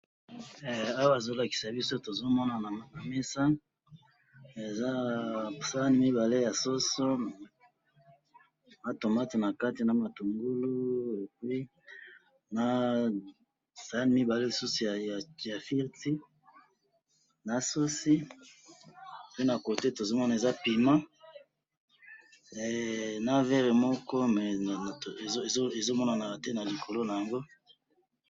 Awa to moni sani mibale ya soso na ba tomate ba kati na kati na sani mibale ya ba fruite na verre moko na mesa.